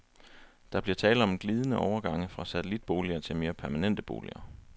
Der bliver tale om glidende overgange fra satellitboliger til mere permanente boliger.